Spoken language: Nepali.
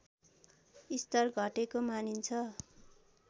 स्तर घटेको मानिन्छ